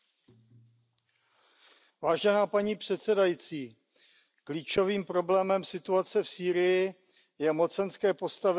Paní předsedající, klíčovým problémem situace v Sýrii je mocenské postavení a vyjednávací pozice Turecka.